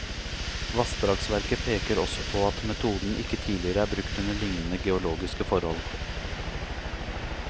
Vassdragsverket peker også på at metoden ikke tidligere er brukt under lignende geologiske forhold.